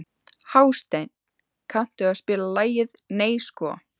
Hásteinn, kanntu að spila lagið „Nei sko“?